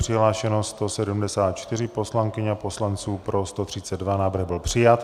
Přihlášeno 174 poslankyň a poslanců, pro 132, návrh byl přijat.